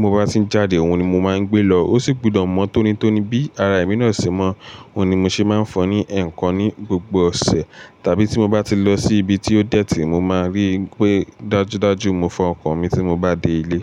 mo bá ti jáde òun ni mo máa ń gbé lọ. Ó sì gbudọ̀ mọ́ tónítóní bí ara èmi náà ṣe mọ́. Òun ni mo ṣe máa ń fọ̀ọ́ ní ẹ̀ẹ̀kan ní gbogbo ọ̀sẹ̀. Tàbí tí mo bá ti lọ sí ibi tí ó dẹ̀tí mo máa ríi ńpé dájúdájú mo fọ ọkọ̀ mi tí mo bá dé ilé.